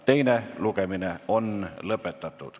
Teine lugemine on lõpetatud.